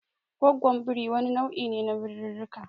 Goggwon birii wani nau'i ne na birirrika.